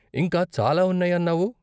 ఇంకా చాలా ఉన్నాయి అన్నావు?